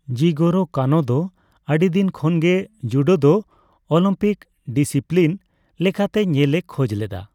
ᱡᱤᱜᱳᱨᱳ ᱠᱟᱱᱳ ᱫᱚ ᱟᱹᱰᱤᱫᱤᱱ ᱠᱷᱚᱱᱜᱮ ᱡᱩᱰᱳ ᱫᱚ ᱚᱞᱤᱢᱯᱤᱠ ᱰᱤᱥᱤᱯᱞᱤᱱ ᱞᱮᱠᱟᱛᱮ ᱧᱮᱞᱮ ᱠᱷᱚᱡ ᱞᱮᱫᱟ ᱾